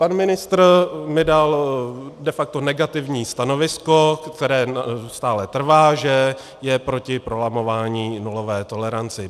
Pan ministr mi dal de facto negativní stanovisko, které stále trvá, že je proti prolamování nulové tolerance.